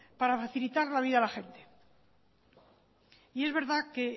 para facilitar la vida a la gente y es verdad que